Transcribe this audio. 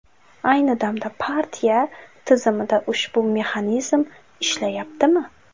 Ayni damda partiya tizimida ushbu mexanizm ishlayaptimi?